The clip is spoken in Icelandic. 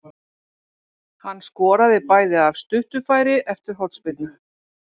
Hann skoraði bæði af stuttu færi eftir hornspyrnur.